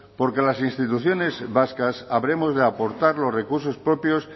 porque las instituciones vascas habremos de aportar los recursos propios